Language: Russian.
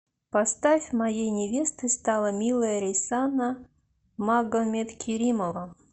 поставь моей невестой стала милая рейсана магомедкеримова